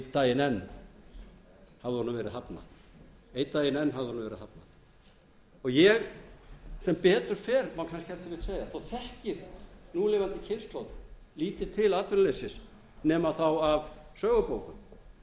daginn enn hafði honum verið hafnað einn daginn enn hafði honum verið hafnað að betur fer má kannski ef til vill segja þá þekkir núlifandi kynslóð lítið til atvinnuleysis nema þá af sögubókum